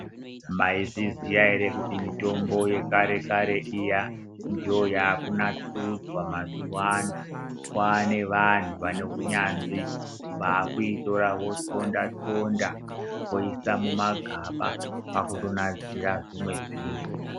Maizviziva here kuti mitombo yekare iyi ndiyo yakunasirwa kwane vanhu vane hunyanzvi vakuitora vonxonda nxonda kuisa mumagaba vakuinasira zvimwe zvinhu.